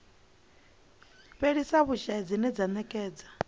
fhelisa vhushai dzine dza ṅekedza